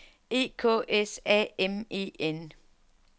E K S A M E N